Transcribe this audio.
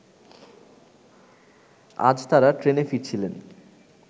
আজ তারা ট্রেনে ফিরছিলেন